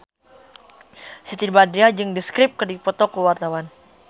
Siti Badriah jeung The Script keur dipoto ku wartawan